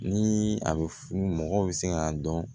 Ni a bɛ funu mɔgɔw bɛ se k'a dɔn